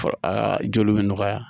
Aa joli bɛ nɔgɔya